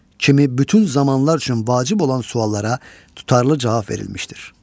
Kimi bütün zamanlar üçün vacib olan suallara tutarlı cavab verilmişdir.